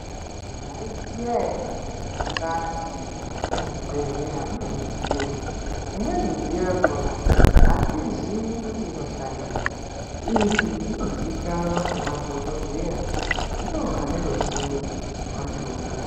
Maiziya ere kuti mukati mwezvibhedhleya mune midziyo. Imweni midziyo yakhona atizii kuti inoshandeyi. Izvi zvino ziikanwa ngema dhokodheya, ndiwo ane ruziwo rwachona.